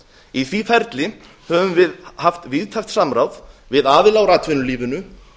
í því ferli höfum við haft víðtækt samráð við aðila úr atvinnulífinu